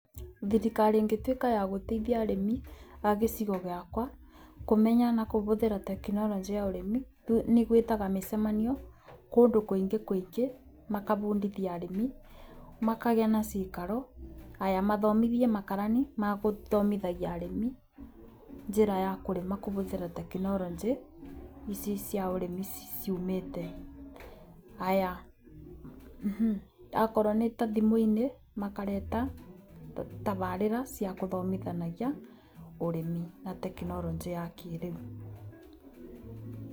Thirikari ĩngĩtuĩka ya gũteithia arĩmi a gĩcigo gĩakwa kũmenya na kũbũthĩra tekinoronjĩ ya ũrimi nĩ gwĩtaga mĩcemanio mĩingĩ kũingĩ makabundithia arĩmi, makagĩa na cikaro. Haya mathomithie makarani magũthomithagia arĩmi njĩra ya kũrĩma kũbũthĩra tekinoronjĩ ici cia ũrĩmi ciumĩte. Haya akorwo nĩ ta thimũ-inĩ makareta tabarĩra cia kũthomithanagia ũrĩmi na tekinoronjĩ ya kĩrĩu.